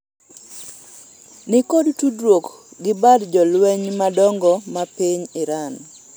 nikod tudruok gi bad jolweny madongo ma piny Iran